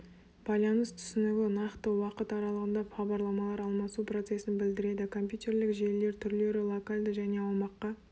байланыс түсінігі нақты уақыт аралығында хабарламалар алмасу процесін білдіреді компьютерлік желілер түрлері локальды және аумаққа